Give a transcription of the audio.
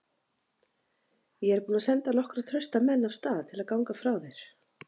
Ég er búinn að senda nokkra trausta menn af stað til að ganga frá þér.